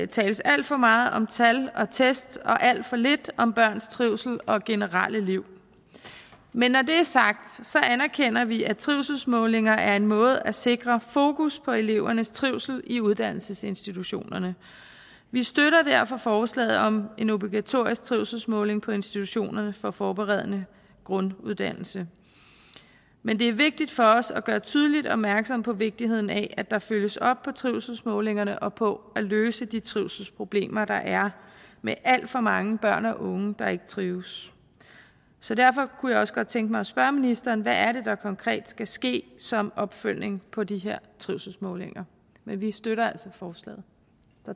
tales alt for meget om tal og test og alt for lidt om børns trivsel og generelle liv men når det er sagt anerkender vi at trivselsmålinger er en måde at sikre fokus på elevernes trivsel i uddannelsesinstitutionerne vi støtter derfor forslaget om en obligatorisk trivselsmåling på institutionerne for forberedende grunduddannelse men det er vigtigt for os at gøre tydeligt opmærksom på vigtigheden af at der følges op på trivselsmålingerne og på at løse de trivselsproblemer der er med alt for mange børn og unge der ikke trives så derfor kunne jeg også godt tænke mig at spørge ministeren hvad er det der konkret skal ske som opfølgning på de her trivselsmålinger men vi støtter altså forslaget